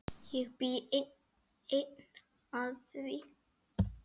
Ég bý enn að því.